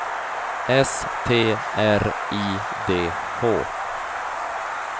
S T R I D H